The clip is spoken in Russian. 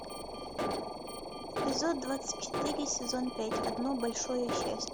эпизод двадцать четыре сезон пять одно большое счастье